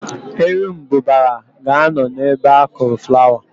Erumbụbara ga-anọ ebe akụrụ flawa.